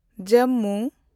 Jammu